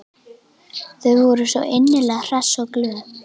Þau voru svo innilega hress og glöð.